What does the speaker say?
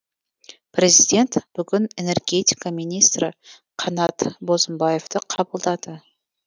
президент бүгін энергетика министрі қанат бозымбаевты қабылдады